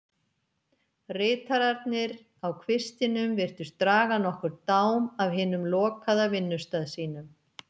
Ritararnir á kvistinum virtust draga nokkurn dám af hinum lokaða vinnustað sínum.